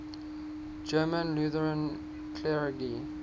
german lutheran clergy